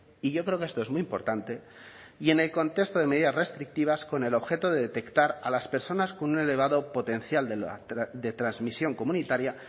y yo creo que esto es muy importante y en el contexto de medidas restrictivas con el objeto de detectar a las personas con un elevado potencial de transmisión comunitaria